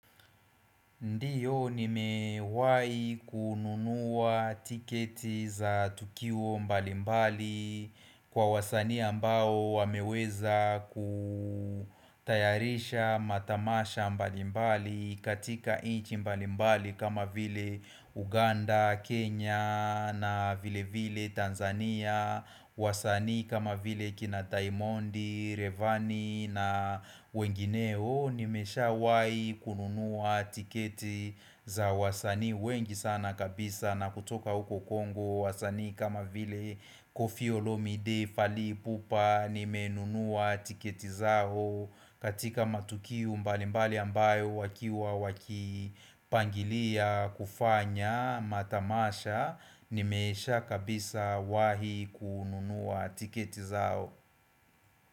Ndiyo nimewahi kununuwa tiketi za tukio mbalimbali kwa wasanii ambao wameweza kutayarisha matamasha mbalimbali katika nchi mbalimbali kama vile Uganda, Kenya na vile vile Tanzania wasanii kama vile kina Daimondi, Reyvani na wengineo. Nimeshawahi kununuwa tiketi za wasanii wengi sana kabisa. Na kutoka huko Kongo wasanii kama vile Koffi Olomide, Fally Ipupa. Nimenunuwa tiketi zao katika matukio mbalimbali ambayo wakiwa wakipangilia kufanya matamasha nimesha kabisa wahi kununua tiketi zao.